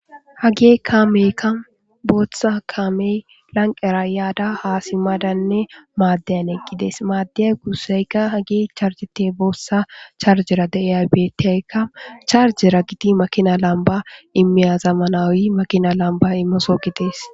Hagee kaameekka booththa kaamey lanqqera yaada haa simmadanne maaddeyan eqgi dees; maaddeya guusseyka hagi charjete boossa charjera de7iya beeththiyakka charjera githi makina lambba immiya zamanaawi makinaa lambba imeso gidees.